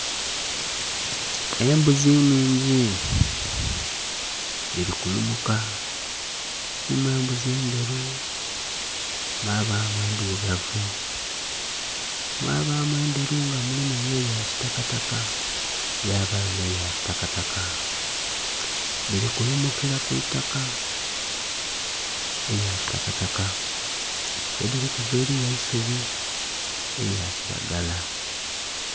Embuzi nnhingi dhili kulumuka mulimu embuzi endheru mwabamu endhirugavu, mwabamu endheru nga mulimu ebya kitakataka ghabagho nhe ya kitakataka dhili kulumukila kw'itaka elya kitakataka yedhirikuvira eriyo eisubi elya kilagala.